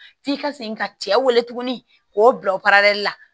F'i ka segin ka cɛ wele tuguni k'o bila o la